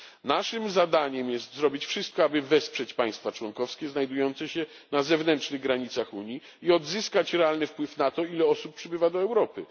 Naszym zadaniem jest zrobić wszystko, aby wesprzeć państwa członkowskie znajdujące się na zewnętrznych granicach Unii i odzyskać realny wpływ na to, ile osób przybywa do Europy.